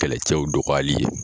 Kɛlɛcɛw dɔgɔyali ye